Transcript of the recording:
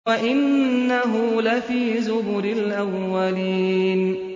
وَإِنَّهُ لَفِي زُبُرِ الْأَوَّلِينَ